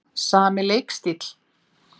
Sami leikstíll?